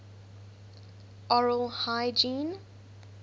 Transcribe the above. oral hygiene